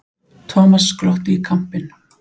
Thomas glotti í kampinn.